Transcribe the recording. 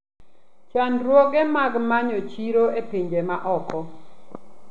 Chandruoge mag manyo chiro e pinje maoko.